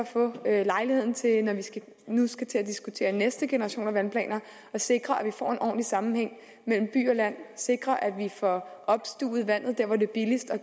få lejlighed til når vi nu skal til at diskutere næste generation af vandplaner at sikre at vi får en ordentlig sammenhæng mellem by og land at sikre at vi får opstuvet vandet der hvor det er billigst og